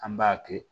An b'a kɛ